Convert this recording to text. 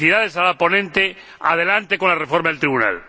Felicidades a la ponente, adelante con la reforma del Tribunal.